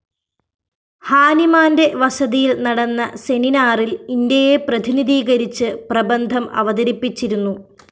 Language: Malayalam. ഹാനിമാന്റെ വസതിയില്‍ നടന്ന സെനിനാറില്‍ ഇന്ത്യയെ പ്രതിനിധീകരിച്ച് പ്രബന്ധം അവതരിപ്പിച്ചിരുന്നു